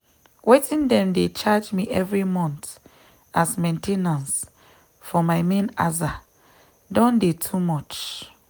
wetin dem dey charge me every month as main ten ance for my main aza don dey too much